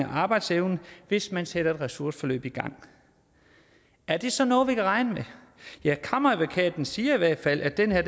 arbejdsevnen hvis man sætter et ressourceforløb i gang er det så noget vi kan regne med ja kammeradvokaten siger i hvert fald at den her